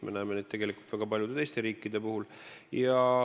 Me näeme seda ka väga paljudes teistes riikides.